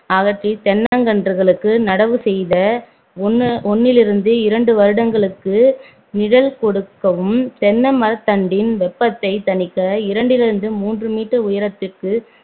அகற்றி தென்னங்கன்றுகளுக்கு நடவு செய்த ஒண்ணு~ ஒண்ணிலிருந்து இரண்டு வருடங்களுக்கு நிழல் கொடுக்கவும் தென்னை மரத்தண்டின் வெப்பத்தை தணிக்க இரண்டிலிருந்து முதல் மூன்று meter உயரத்திற்கு